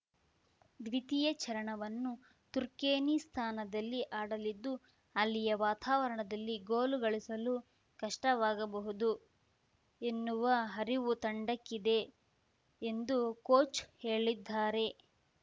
ದ್ವಿತೀಯ ಚರಣವನ್ನು ತುರ್ಕೆನಿಸ್ತಾನದಲ್ಲಿ ಆಡಲಿದ್ದು ಅಲ್ಲಿನ ವಾತಾವರಣದಲ್ಲಿ ಗೋಲು ಗಳಿಸಲು ಕಷ್ಟವಾಗಬಹುದು ಎನ್ನುವ ಅರಿವು ತಂಡಕ್ಕಿದೆ ಎಂದು ಕೋಚ್‌ ಹೇಳಿದ್ದಾರೆ